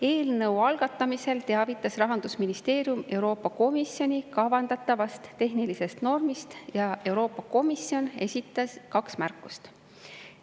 Eelnõu algatamisel teavitas Rahandusministeerium Euroopa Komisjoni kavandatavast tehnilisest normist ja Euroopa Komisjon esitas kaks märkust.